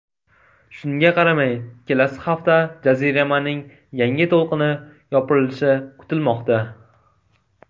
Shunga qaramay, kelasi hafta jaziramaning yangi to‘lqini yopirilishi kutilmoqda.